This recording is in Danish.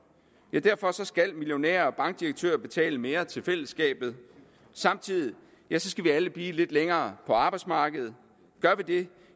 derfor skal millionærer og bankdirektører betale mere til fællesskabet og samtidig skal vi alle blive lidt længere på arbejdsmarkedet gør